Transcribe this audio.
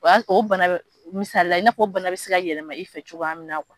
O ya sɔrɔ o bana bɛ misalila i na fɔ o bana bɛ se ka yɛlɛma i fɛ cogoya min na